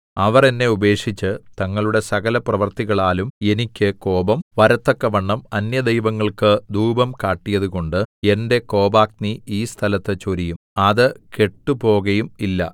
അവർ എന്നെ ഉപേക്ഷിച്ച് തങ്ങളുടെ സകലപ്രവൃത്തികളാലും എനിക്ക് കോപം വരത്തക്കവണ്ണം അന്യദൈവങ്ങൾക്ക് ധൂപം കാട്ടിയതുകൊണ്ട് എന്റെ കോപാഗ്നി ഈ സ്ഥലത്ത് ചൊരിയും അത് കെട്ടുപോകയും ഇല്ല